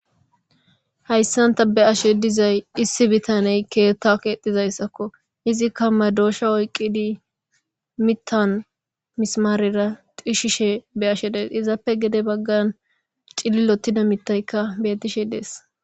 Hayssanta be ashe dizay issi bitaney keetta keexizayssakko izikka madoosha oyqqidi mittan misimaarera xishishe be ashe dees izaappe gede baggan cililottida mittaykka betishe dees.